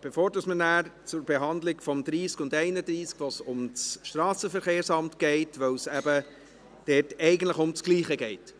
bevor wir nachher zur Behandlung der Traktanden 30 und 31 kommen, wo es um das Strassenverkehrsamt geht, weil es dort eben eigentlich um das Gleiche geht.